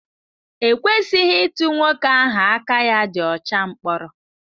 E kwesịghị ịtụ nwoke ahụ aka ya dị ọcha mkpọrọ.